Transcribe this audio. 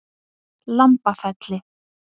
Lambafelli